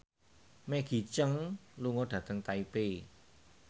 Maggie Cheung lunga dhateng Taipei